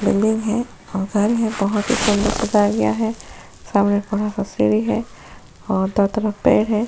घर है बड़ा सा सुंदर सा सामने बड़ा सा सीधी है और बहुत है।